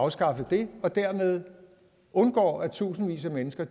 afskaffet det og dermed undgår at tusindvis af mennesker